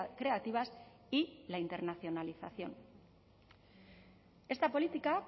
creativas y la internacionalización esta política